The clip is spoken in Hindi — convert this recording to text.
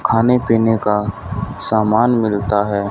खाने पीने का सामान मिलता है।